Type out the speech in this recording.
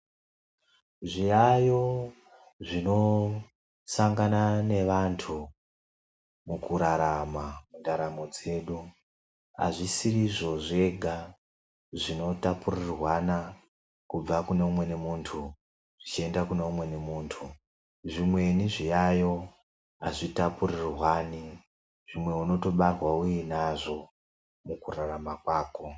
Zviyaeyo zvinosangana nevantu mukurarama mundaramo dzedu hazvisiri izvo zvega zvinotapurirwana kubva kune umweni muntu zvichienda kune umweni muntu. Zvimweni zviyaiyo hazvitapurirwani. Zvimweni unotobarwa uinazvo mukurarama kwako.